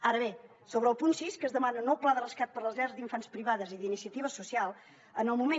ara bé sobre el punt sis que s’hi demana un nou pla de rescat per a les llars d’infants privades i d’iniciativa social en el moment